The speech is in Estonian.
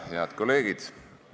Head kolleegid!